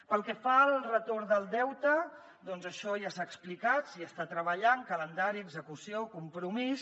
pel que fa al retorn del deute doncs això ja s’ha explicat s’hi està treballant calendari execució compromís